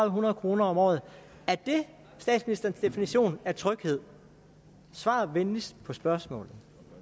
hundrede kroner om året er det statsministerens definition af tryghed svar venligst på spørgsmålet